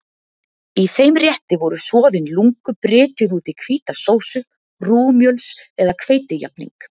Í þeim rétti voru soðin lungu brytjuð út í hvíta sósu, rúgmjöls- eða hveitijafning.